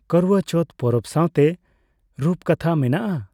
ᱠᱟᱨᱳᱣᱟ ᱪᱚᱣᱛᱷᱚ ᱯᱚᱨᱚᱵᱽ ᱥᱟᱣᱛᱮ ᱨᱩᱯᱠᱟᱛᱷᱟ ᱢᱮᱱᱟᱜᱼᱟ ᱾